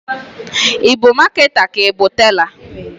I bu maketa ka i bu tela?